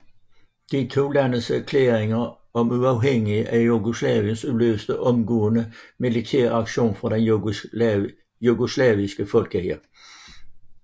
De to landes erklæringer om uafhængighed af Jugoslavien udløste omgående militær reaktion fra den jugoslaviske folkehær